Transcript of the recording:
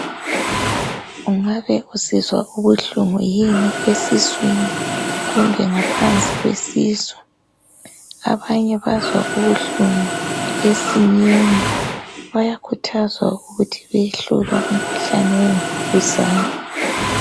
Ungabe usizwa ubuhlungu yini esiswini kumbe ngaphansi kwesisu? Abanye bazwa ubuhlungu esinyeni bayakhuthazwa ukuthi bayehlolwa umkhuhlane wemvukuzane.